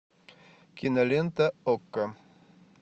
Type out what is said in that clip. кинолента окко